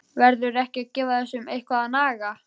Verður ekki að gefa þessu eitthvað að naga?